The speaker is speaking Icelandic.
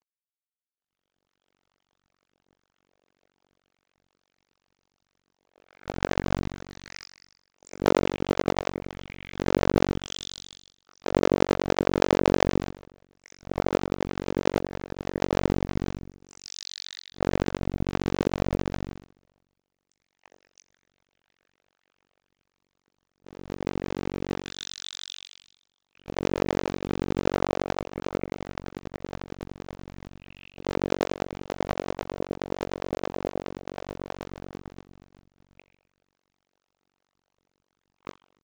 Hægt er að hlusta á viðtalið í heild sinni í spilaranum hér að ofan.